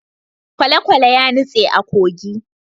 kwalekwale ya nutse a kogi